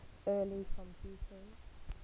early computers